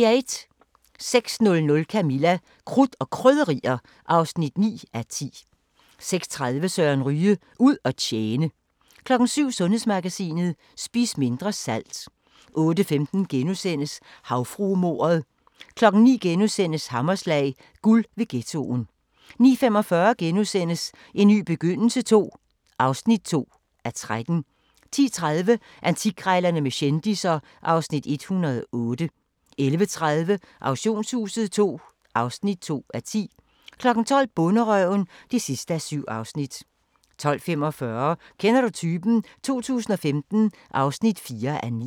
06:00: Camilla – Krudt og Krydderier (9:10) 06:30: Søren Ryge: Ud at tjene 07:00: Sundhedsmagasinet: Spis mindre salt 08:15: Havfruemordet * 09:00: Hammerslag – guld ved ghettoen * 09:45: En ny begyndelse II (2:13)* 10:30: Antikkrejlerne med kendisser (Afs. 108) 11:30: Auktionshuset II (2:10) 12:00: Bonderøven (7:7) 12:45: Kender du typen? 2015 (4:9)